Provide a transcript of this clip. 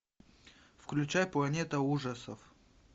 включай планета ужасов